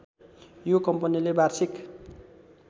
यो कम्पनीले वार्षिक